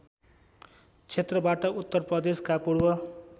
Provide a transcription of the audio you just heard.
क्षेत्रबाट उत्तरप्रदेशका पूर्व